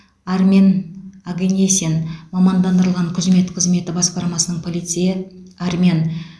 армен огенесян мамандандырылған күзмет қызметі басқармасының полицейі армян